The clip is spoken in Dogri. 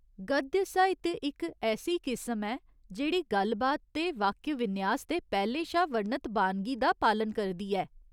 गद्य साहित्य इक ऐसी किस्म ऐ जेह्ड़ी गल्ल बात ते वाक्य विन्यास दे पैह्‌लें शा वर्णत बानगी दा पालन करदी ऐ।